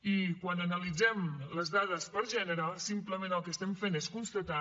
i quan analitzem les dades per gènere simplement el que estem fent és constatar